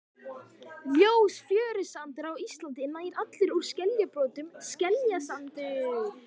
Ljós fjörusandur á Íslandi er nær allur úr skeljabrotum, skeljasandur.